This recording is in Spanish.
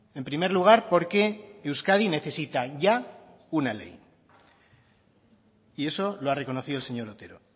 en primer lugar porque euskadi necesita ya una ley y eso lo ha reconocido el señor otero